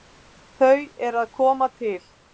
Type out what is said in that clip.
Þau eru að koma til.